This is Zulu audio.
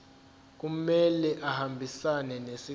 kumele ahambisane nesicelo